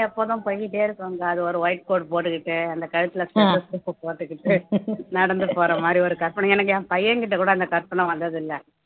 எப்போதும் அது ஒரு white coat போட்டுக்கிட்டு அந்த கழுத்துல stethoscope போட்டுக்கிட்டு நடந்து போற மாதிரி ஒரு கற்பனை எனக்கு என் பையன்கிட்ட கூட அந்த கற்பனை வந்தது இல்லை